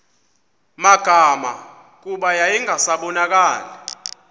magama kuba yayingasabonakali